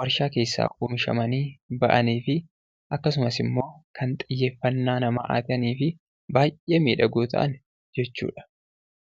waarshaa keessaa oomishamanii bahaniifi akkasumasimmoo kan xiyyeeffannaa hataniifi baayyee miidhagoo ta'an jechuudha.